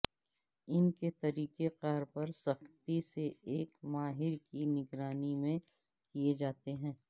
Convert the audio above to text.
ان کے طریقہ کار پر سختی سے ایک ماہر کی نگرانی میں کئے جاتے ہیں